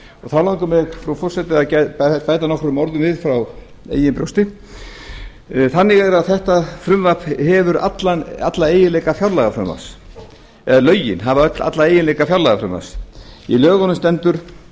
þá langar mig frú forseti að bæta nokkrum orðum við frá eigin brjósti þannig er að þetta frumvarp eða lögin hafa alla eiginleika fjárlagafrumvarps í lögunum stendur